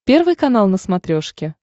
первый канал на смотрешке